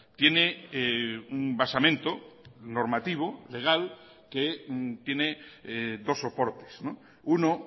tiene basamento normativo legal que tiene dos soportes uno